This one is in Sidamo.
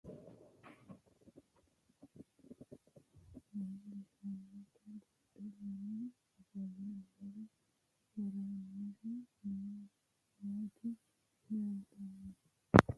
Tenne misilenni la'nanniri woy leellannori maattiya noori amadde yinummoro meenttu alibbaho qalame waajjishshannotta buudhe lame offolle noore woroonniri nootti leelittanno